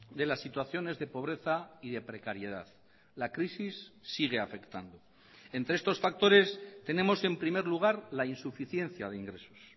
de las situaciones de pobreza y de precariedad la crisis sigue afectando entre estos factores tenemos en primer lugar la insuficiencia de ingresos